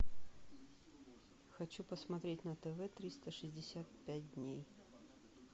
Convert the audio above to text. хочу посмотреть на тв триста шестьдесят пять дней